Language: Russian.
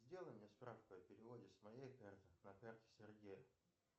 сделай мне справку о переводе с моей карты на карту сергея